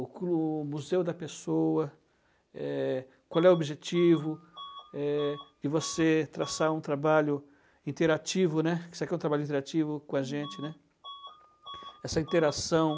com o museu da pessoa, eh, qual é o objetivo de você traçar um trabalho interativo, né, que isso aqui é um trabalho interativo com a gente, né? Essa interação.